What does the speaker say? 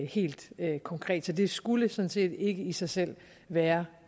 helt konkret så det skulle sådan set ikke i sig selv være